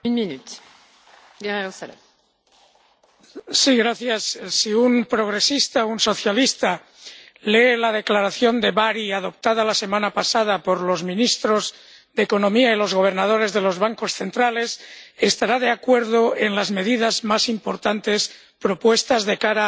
Señora presidenta, si un progresista, un socialista, lee la declaración de Bari adoptada la semana pasada por los ministros de Economía y los gobernadores de los bancos centrales, estará de acuerdo en las medidas más importantes propuestas de cara al G 7